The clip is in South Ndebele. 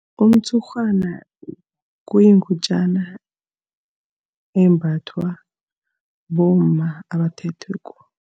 Umtshurhwana kuyingutjana embathwa bomma abathethweko.